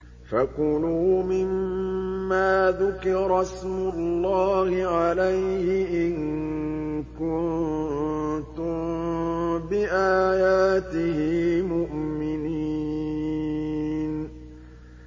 فَكُلُوا مِمَّا ذُكِرَ اسْمُ اللَّهِ عَلَيْهِ إِن كُنتُم بِآيَاتِهِ مُؤْمِنِينَ